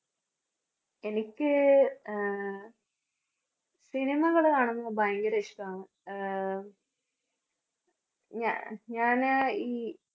എനിക്ക് ആഹ് cinema കള് കാണുന്നത് ഭയങ്കര ഇഷ്ട്ടാണ്. ആഹ് ഞാ~ ഞാന് ഈ